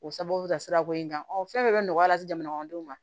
O sababu bɛ ka sirako in kanfɔ fɛn bɛɛ bɛ nɔgɔya lase jamanakɔnɔdenw ma